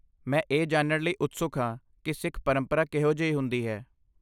ਮੈਂ ਇਹ ਜਾਣਨ ਲਈ ਉਤਸੁਕ ਹਾਂ ਕਿ ਸਿੱਖ ਪਰੰਪਰਾ ਕਿਹੋ ਜਿਹੀ ਹੁੰਦੀ ਹੈ।